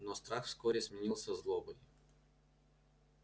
но страх вскоре сменился злобой